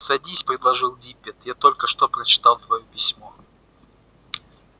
садись предложил диппет я только что прочитал твоё письмо